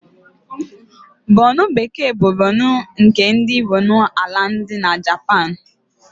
Bonịn bekee bụ bekee nke ndị Bonin Aịlandị na Japan.